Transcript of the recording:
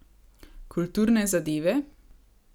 Kulturne zadeve?